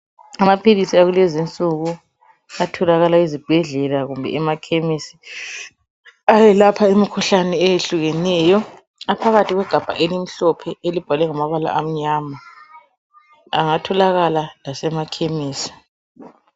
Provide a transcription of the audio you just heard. amaphilisi akulezi insuku atolakala ezibhedlela kumbe emakhemisi ayelapha into ezitshiyeneyo aphakathi kwegabha elimhlophe elibhalwe ngamabala amnyama engatholakala lasema khemisi